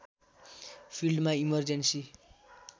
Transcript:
फिल्डमा इमर्जेन्सी